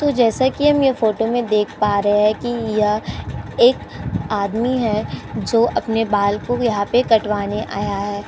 तो जैसा कि हम यह फोटो में देख पा रहे है कि यह एक आदमी है जो अपने बाल को यहाँ पे कटवाने आया है।